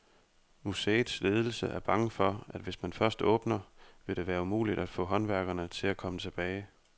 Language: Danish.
Museets ledelse er bange for, at hvis man først åbner, vil det være umuligt at få håndværkerne til at komme tilbage.